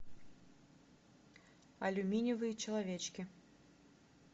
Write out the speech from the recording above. алюминиевые человечки